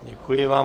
Děkuji vám.